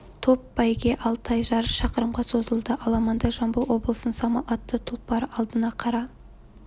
топ бәйге ал тай жарыс шақырымға созылды аламанда жамбыл облысының самал атты тұлпары алдына қара